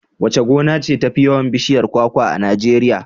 Wace gona ce tafi yawan bishiyar kwakwa a Najeriya?